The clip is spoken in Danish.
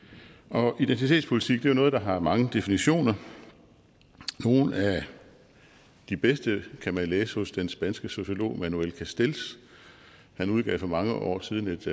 og identitetspolitik er jo noget der har mange definitioner nogle af de bedste kan man læse hos den spanske sociolog manuel castells han udgav for mange år siden et